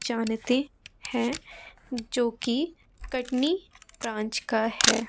जानते हैं जो कि कटनी ब्रांच का है।